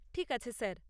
ঠিক আছে, স্যার।